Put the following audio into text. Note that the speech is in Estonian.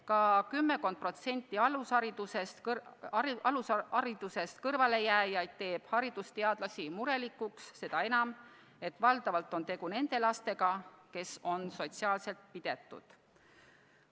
Ka kümmekond protsenti alusharidusest kõrvalejääjaid teeb haridusteadlasi murelikuks, seda enam, et valdavalt on tegu nende lastega, kes on sotsiaalselt pidetud.